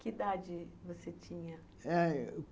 Que idade você tinha? Eh...